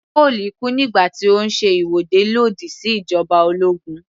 Cole kú nígbà tí ó ń ṣe ìwọ́de lòdì sí ìjoba ológun